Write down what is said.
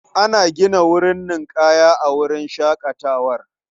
Ana gina wurin ninƙaya a wurin shaƙatawar.